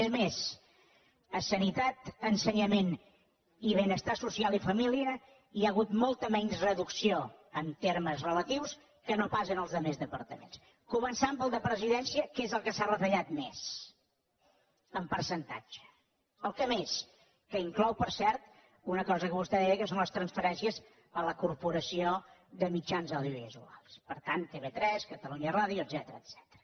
és més a sanitat ensenyament i benestar social i família hi ha hagut molta menys reducció en termes relatius que no pas en els altres departaments començant pel de presidència que és el que s’ha retallat més en percentatge el que més que inclou per cert una cosa que vostè deia que són les transferències a la corporació de mitjans audiovisuals per tant tv3 catalunya ràdio etcètera